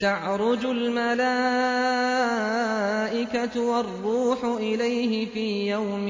تَعْرُجُ الْمَلَائِكَةُ وَالرُّوحُ إِلَيْهِ فِي يَوْمٍ